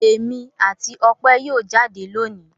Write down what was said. Èmi àti Ope yóò jáde lónìí.